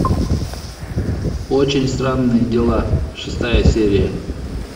очень странные дела шестая серия